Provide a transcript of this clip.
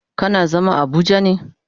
Kana zama a abuja ne?